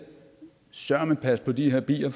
søreme passe på de her bier